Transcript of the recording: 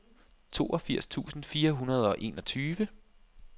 toogfirs tusind fire hundrede og enogtyve